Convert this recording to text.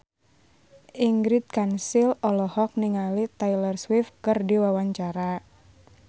Ingrid Kansil olohok ningali Taylor Swift keur diwawancara